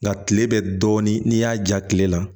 Nga kile bɛ dɔɔnin n'i y'a ja kile la